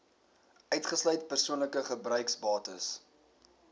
uitgesluit persoonlike gebruiksbates